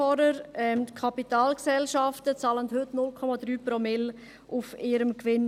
Die Kapitalgesellschaften bezahlen heute 0,3 Promille Steuern auf ihrem Gewinn.